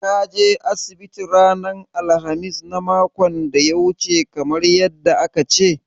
Ka je asibiti ranar alkhamis na makon da ya wuce kamar yadda aka ce?